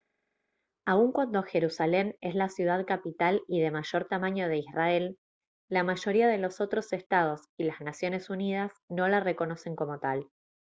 aun cuando jerusalén es la ciudad capital y de mayor tamaño de israel la mayoría de los otros estados y las naciones unidas no la reconocen como tal